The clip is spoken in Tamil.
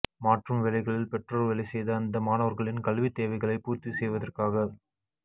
மாற்றும் வேலைகளில் பெற்றோர் வேலை செய்த அந்த மாணவர்களின் கல்வித் தேவைகளை பூர்த்தி செய்வதற்காக